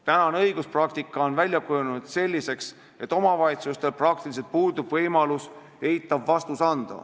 Praegune õiguspraktika on kujunenud selliseks, et omavalitsustel praktiliselt puudub võimalus eitav vastus anda.